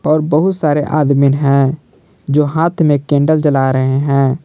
और बहुत सारे आदमीन हैं जो हाथ में कैंडल जला रहे हैं।